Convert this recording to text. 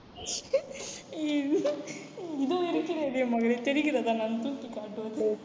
இதோ இருக்கிறதே மகளே தெரிகிறதா நான் தூக்கி காட்டுவது